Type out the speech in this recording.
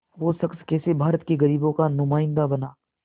वो शख़्स कैसे भारत के ग़रीबों का नुमाइंदा बना